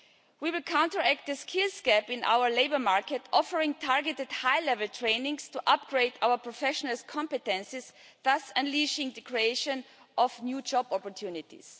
We will counteract the skills gap in our labour market, offering targeted high level training to upgrade our professionals' competences thus unleashing the creation of new job opportunities.